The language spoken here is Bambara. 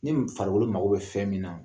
Ni farikolo mago bɛ fɛn min na